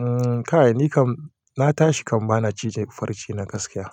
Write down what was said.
Umm, kai ni kam na tashi kam bana cije farce na gaskiya.